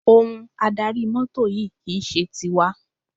Ohun adarí mọ́tò yìí kì í ṣe tiwa.